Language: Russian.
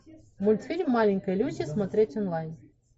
мультфильм маленькая люси смотреть онлайн